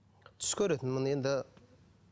түс көретінмін енді